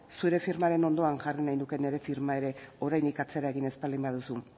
zure firmaren ondoan jarri nahi nuke nire firma ere oraindik atzera egin ez baldin baduzu